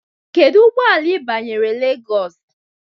Kedu ụgbọ ala ị banyere Lagos?